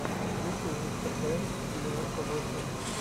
включи мистер брент девяносто восемь